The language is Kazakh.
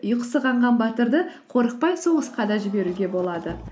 ұйқысы қанған батырды қорықпай соғысқа да жіберуге болады